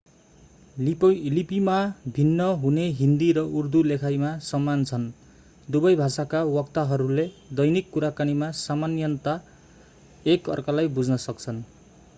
लिपिमा भिन्न हुने हिन्दी र उर्दू लेखाइमा समान छन् दुबै भाषाका वक्ताहरूले दैनिक कुराकानीमा सामान्यतया एक अर्कालाई बुझ्न सक्छन्